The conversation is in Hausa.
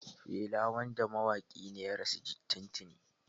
Fela wanda mawaƙi ne ya rasu tuntuni.